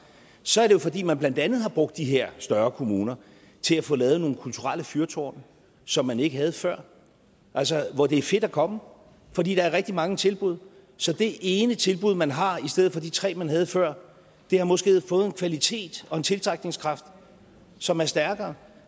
så er det jo fordi man blandt andet har brugt de her større kommuner til at få lavet nogle kulturelle fyrtårne som man ikke havde før hvor det er fedt at komme fordi der er rigtig mange tilbud så det ene tilbud man har i stedet for de tre man havde før har måske fået en kvalitet og en tiltrækningskraft som er stærkere